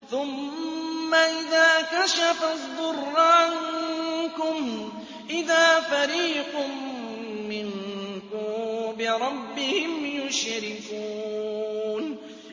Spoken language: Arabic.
ثُمَّ إِذَا كَشَفَ الضُّرَّ عَنكُمْ إِذَا فَرِيقٌ مِّنكُم بِرَبِّهِمْ يُشْرِكُونَ